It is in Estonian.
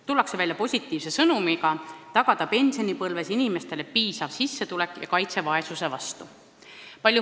Tullakse välja positiivse sõnumiga tagada pensionipõlves inimestele piisav sissetulek ja kaitse vaesuse vastu.